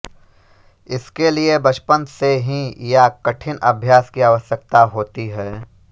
इसके लिए बचपन से ही या कठिन अभ्यास की आवश्यकता होती है